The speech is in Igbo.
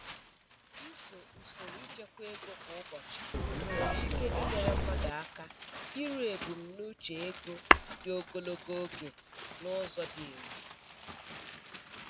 Ịso usoro ịchekwa ego kwa ụbọchị nwere ike inyere mmadụ aka iru ebumnuche ego dị ogologo oge n'ụzọ dị irè.